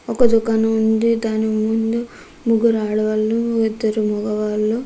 ఒక దుకాణం ఉంది. దాని ముందు ముగ్గురు ఆడవాళ్లు ఇద్దరు మెగవాళ్ళు --